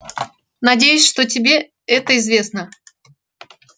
надеюсь что тебе это известно